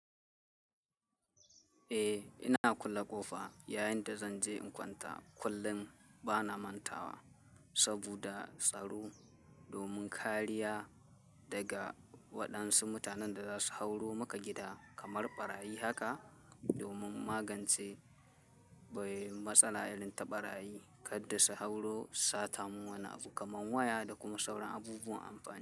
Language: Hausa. Eh, ina kulle ƙofa yayinda zanje in kwanta, kullum bana mantawa saboda tsaro domin kariya daga waɗansu mutanen da za su hauro maka gida kamar ɓarayi haka domin magance bai matsala irin ta ɓarayi kadda su hauro sata mun wani abu kamar waya da kuma sauran abubuwan amfani.